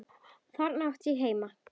Þarna átti ég heima.